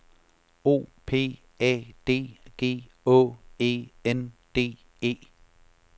O P A D G Å E N D E